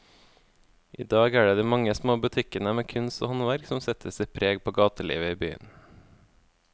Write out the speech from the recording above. I dag er det de mange små butikkene med kunst og håndverk som setter sitt preg på gatelivet i byen.